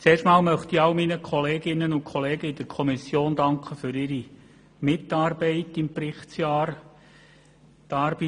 Zunächst einmal möchte ich meinen Kolleginnen und Kollegen in der Kommission für ihre Mitarbeit im Berichtsjahr danken.